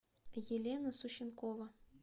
елена сущенкова